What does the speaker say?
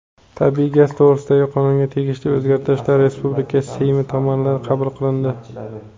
Tabiiy gaz to‘g‘risidagi qonunga tegishli o‘zgartirishlar respublika Seymi tomonidan qabul qilindi.